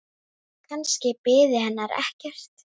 Og lyfið missti marks.